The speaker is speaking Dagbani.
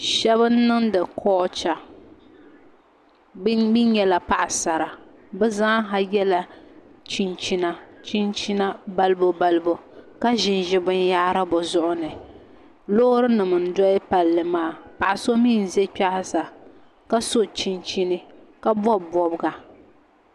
Shab n niŋdi kolcha bi mii nyɛla paɣasara bi zaaha yɛla chinchina balibu ka ʒinʒi binyahari bi zuɣu ni loori nim n doli palli maa paɣa so mii n ʒɛ kpɛ ha sa ka so chinchini ka bob bobga